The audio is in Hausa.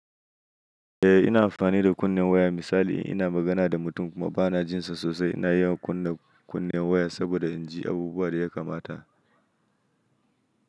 Eh ina amfani da kunnen waya. Misali ina magana da mutum kuma bana jin sa sosai ina iya kunna kunnen waya saboda in ji abubuwan da ya kamata.